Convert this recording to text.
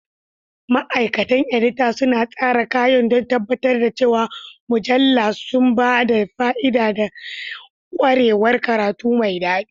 Ma'aikatan edita suna tsara kayan don tabbatar da cewa mujallu suna ba da fa'ida da ƙwarewar karatu mai daɗi.